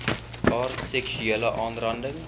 aard seksuele aanranding